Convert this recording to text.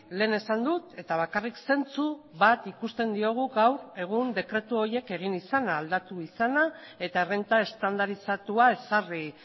lehen esan dut eta bakarrik zentsu bat ikusten diogu gaur egun dekretu horiek egin izana aldatu izana eta errenta estandarizatua ezarri